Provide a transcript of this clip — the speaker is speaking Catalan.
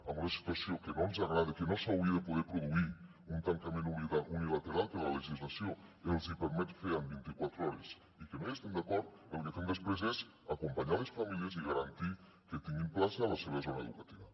en una situació que no ens agrada que no s’hauria de poder produir un tancament unilateral que la legislació els hi permet fer en vint i quatre hores i que no hi estem d’acord el que fem després és acompanyar les famílies i garantir que tinguin plaça a la seva zona educativa